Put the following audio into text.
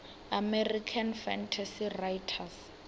american fantasy writers